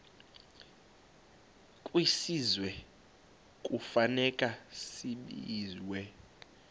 kwisizwe kufuneka zabiwe